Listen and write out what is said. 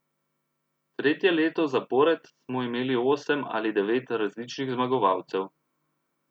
Tretje leto zapored smo imeli osem ali devet različnih zmagovalcev.